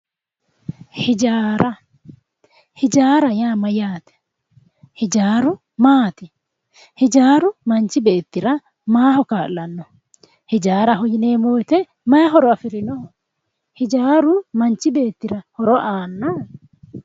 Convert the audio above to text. Hijaara hijaara yaa mayyaate? Hijaaru maati? Hijaaru manchi beettira maaho kaa'lanno? Hijaaraho yineemmo woyiite maayi horo afirinoho ? Hijaaru manchi beettira horo aannoho?